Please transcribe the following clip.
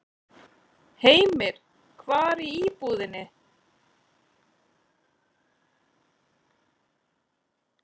Heimir: Hvar í íbúðinni?